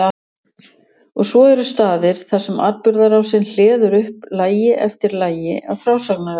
Og svo eru staðir þar sem atburðarásin hleður upp lagi eftir lagi af frásagnarefni.